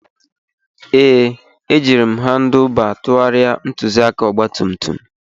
Ee, ejiri m Handuba tụgharịa ntụzịaka ọgba tum tum